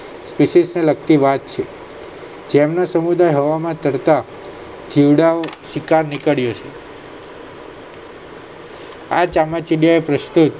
થિસિસને લગતિ વાત છે જેમનો સમુદાય઼ હવામાં ચડતા જીવડાંઓ શિકાર નીકળ્યો છે આ ચામાચીડિયાએ પ્રસ્તુત